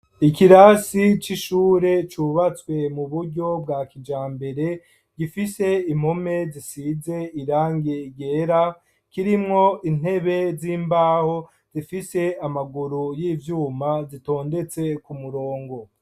ikirasi cy'ishure cyubatswe m'uburyo bwa kijambere gifise impome zisize irangi ryera kirimwo intebe z'imbaho zifise amaguru y'ibyuma zitondetse ku murongo.